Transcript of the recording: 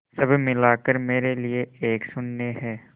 सब मिलाकर मेरे लिए एक शून्य है